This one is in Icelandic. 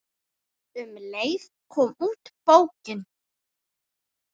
Um leið kom út bókin